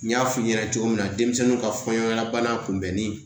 N y'a f'i ɲɛna cogo min na denmisɛnninw ka fɔɲɔgɔnlabana kunbɛnni